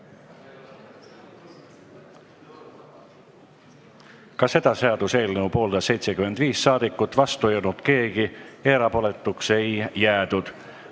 Hääletustulemused Ka seda seaduseelnõu pooldas 75 saadikut, vastu ei olnud keegi ja erapooletuks ei jäädud.